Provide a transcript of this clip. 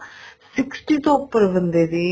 sixty ਤੋਂ ਉੱਪਰ ਬੰਦੇ ਦੀ